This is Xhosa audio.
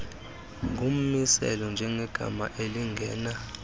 ngummiselo njengegama elingena